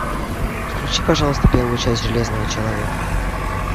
включи пожалуйста первую часть железного человека